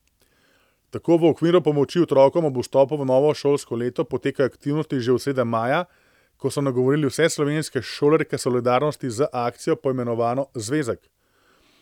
Tako v okviru pomoči otrokom ob vstopu v novo šolsko leto potekajo aktivnosti že od srede maja, ko so nagovorili vse slovenske šolarje k solidarnosti z akcijo poimenovano Zvezek.